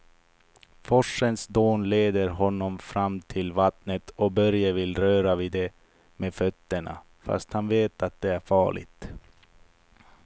Forsens dån leder honom fram till vattnet och Börje vill röra vid det med fötterna, fast han vet att det är farligt.